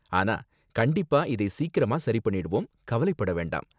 ஆனா கண்டிப்பா இதை சீக்கிரமா சரி பண்ணிடுவோம், கவலைப்பட வேண்டாம்